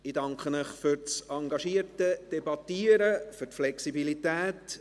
Ich danke Ihnen für das engagierte Debattieren und für die Flexibilität.